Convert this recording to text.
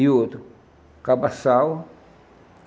E outro, Cabassal.